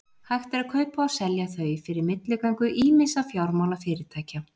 Hægt er að kaupa og selja þau fyrir milligöngu ýmissa fjármálafyrirtækja.